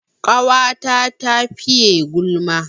Ƙawata ta fiye gulma